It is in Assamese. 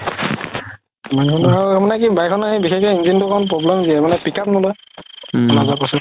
তাৰমানে কি bike খন বিশেষকে engine তো অলপ problem দিয়ে মানে pick up নলয়